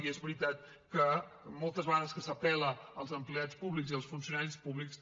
i és veritat que moltes vegades que s’apel·la als empleats públics i als funcionaris públics